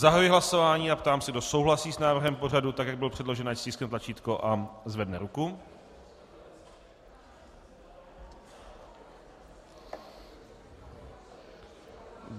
Zahajuji hlasování a ptám se, kdo souhlasí s návrhem pořadu, tak jak byl předložen, ať stiskne tlačítko a zvedne ruku.